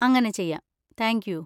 അങ്ങനെ ചെയ്യാം, thank U.